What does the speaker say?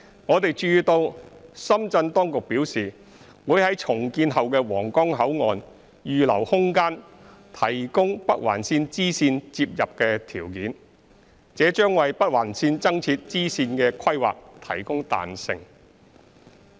我們注意到深圳當局表示會於重建後的皇崗口岸預留空間提供北環綫支綫接入的條件，這將為北環綫增設支線的規劃提供彈性。